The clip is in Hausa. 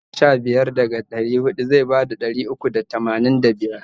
Idan a ka kwashe sha biyar daga ɗari huɗu zai bada ɗari uku da tamanin da biyar.